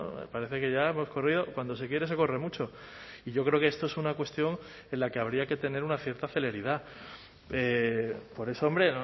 me parece que ya hemos corrido cuando se quiere se corre mucho y yo creo que esto es una cuestión en la que habría que tener una cierta celeridad por eso hombre